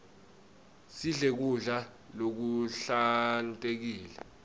sidle kudla lokuhlantekile